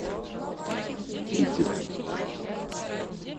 ивделе